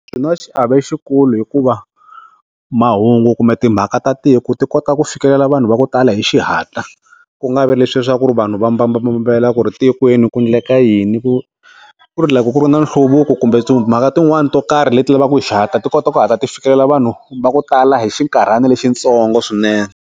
Swi na xiave xikulu hikuva mahungu kumbe timhaka ta tiko ti kota ku fikelela vanhu va ku tala hi xihatla ku nga vi leswi swa ku vanhu va mbambambambela ku ri tikweni ku endleka yini ku ku ri loko ku ri na nhluvuko kumbe timhaka tin'wana to karhi leti lavaka ti kota ku hatla ti fikelela vanhu va ku tala hi xinkarhana lexi ntsongo swinene.